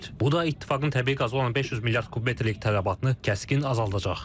Bu da İttifaqın təbii qaza olan 500 milyard kubmetrlik tələbatını kəskin azaldacaq.